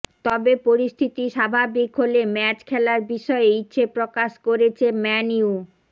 তবে পরিস্থিতি স্বাভাবিক হলে ম্যাচ খেলার বিষয়ে ইচ্ছে প্রকাশ করেছে ম্য়ান ইউ